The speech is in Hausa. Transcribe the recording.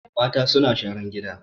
Mata suna sharan gina